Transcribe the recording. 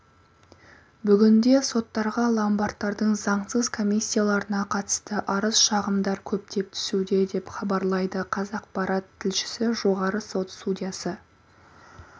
бүгінде соттарға ломбардтардың заңсыз комиссияларына қатысты арыз-шағымдар көптеп түсуде деп іабарлайды қазақпарат тілшісі жоғарғы сот судьясы